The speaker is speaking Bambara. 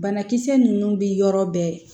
Banakisɛ ninnu bɛ yɔrɔ bɛɛ